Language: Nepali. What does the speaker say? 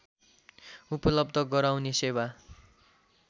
उपलब्ध गराउने सेवा